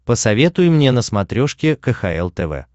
посоветуй мне на смотрешке кхл тв